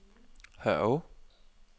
Hørve